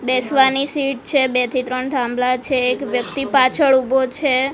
બેસવાની સીટ છે બે થી ત્રણ થાંભલા છે એક વ્યક્તિ પાછળ ઉભો છે.